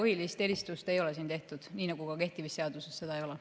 Keelepõhist eristust ei ole tehtud, nii nagu ka kehtivas seaduses seda ei ole.